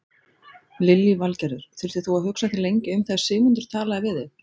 Lillý Valgerður: Þurftir þú að hugsa þig lengi um þegar Sigmundur talaði við þig?